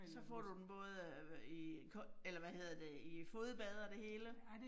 Så får du den både øh i eller hvad hedder det i fodbad og det hele